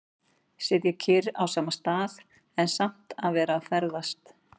Sitja kyrr á sama stað, en samt að vera að ferðast.